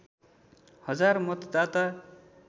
हजार मतदाता